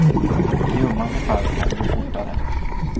I ömmande fall kan det gå fortare.